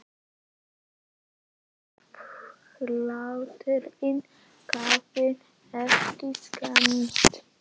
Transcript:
Ég vona bara að hatturinn hafi ekki skemmst